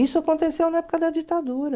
Isso aconteceu na época da ditadura.